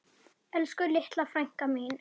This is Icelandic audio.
Elsku litla frænka mín.